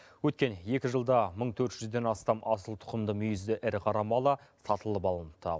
өткен екі жылда мың төрт жүзден астам асыл тұқымды мүйізді ірі қара малы сатылып алыныпты